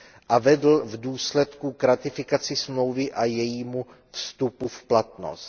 a vedl v důsledku k ratifikaci smlouvy a jejímu vstupu v platnost.